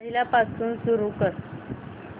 पहिल्यापासून सुरू कर